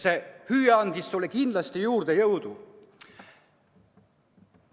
See hüüe andis sulle kindlasti jõudu juurde.